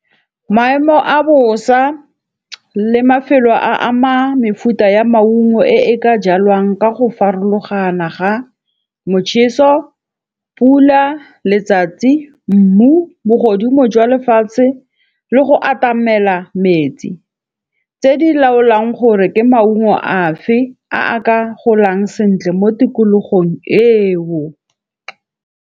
Maemo a bosa le mafelo a ama mefuta ya maungo e ka jalwang ka go farologana ga motšheso, pula, letsatsi, mmu, bogodimo jwa lefatshe le go atamela metsi. Tse di laolang gore ke maungo a fe a ka golang sentle mo tikologong eo.